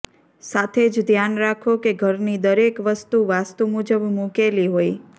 સાથે જ ધ્યાન રાખો કે ઘરની દરેક વસ્તુ વાસ્તુ મુજબ મુકેલી હોય